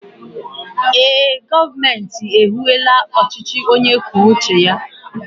ee, gọọmenti ehiwela ọchịchị onye kwuo uche ya